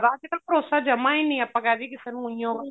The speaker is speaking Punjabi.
ਅੱਜਕਲ ਭਰੋਸਾ ਜਮਾ ਹੀ ਨੀ ਏ ਆਪਾਂ ਕਹਿ ਦੀਏ ਕਿਸੇ ਨੂੰ ਉਹੀਉ